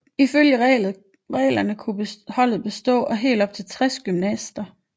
Ifølge reglerne kunne et holdet bestå af op til 60 gymnaster